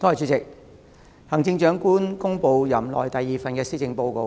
主席，行政長官公布了任內第二份施政報告。